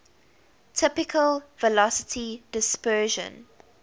typical velocity dispersion